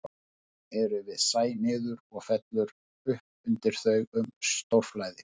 Skörðin eru við sæ niður og fellur upp undir þau um stórflæði.